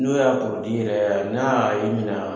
N'o y'a yɛrɛ y n'a y'i mina